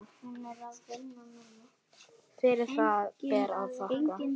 Fyrir það ber að þakka.